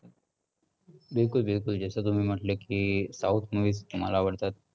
बिलकुल बिलकुल. जस तुम्ही म्हंटले की south movies मला आवडतात.